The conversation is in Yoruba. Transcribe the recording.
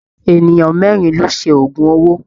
Ènìyàn mẹ́rin ló ṣe oògùn owó.